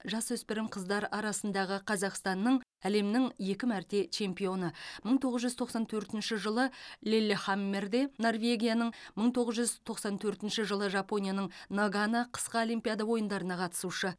жасөспірім қыздар арасындағы қазақстанның әлемнің екі мәрте чемпионы мың тоғыз жүз тоқсан төртінші жылы лиллехаммерде норвегияның мың тоғыз жүз тоқсан төртінші жылы жапонияның нагано қысқы олимпия ойындарына қатысушы